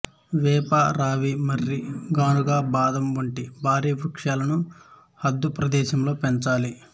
వేప రావి మర్రి కానుగ బాదం వంటి భారీ వృక్షాలను హద్దు ప్రదేశంలో పెంచాలి